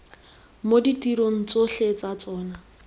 mo ditirong tsotlhe tsa tsona